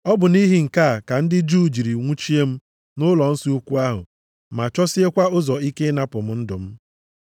Ọ bụ nʼihi nke a ka ndị Juu jiri nwụchie m nʼụlọnsọ ukwu ahụ ma chọsiekwa ụzọ ike ịnapụ m ndụ m.